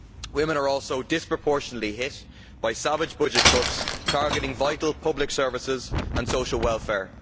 Women are also disproportionately hit by savage budget cuts, targeting vital public services and social welfare.